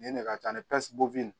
Nin ye ne ka ca ni